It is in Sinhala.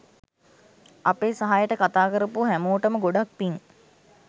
අපේ සහයට කතා කරපු හැමෝටම ගොඩක් පිං